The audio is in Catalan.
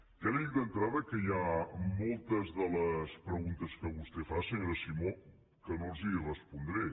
ja li dic d’entrada que hi ha moltes de les preguntes que vostè fa senyora simó que no les hi respondré